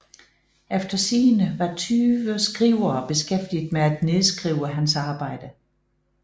Efter sigende var tyve skrivere beskæftiget med at nedskrive hans arbejde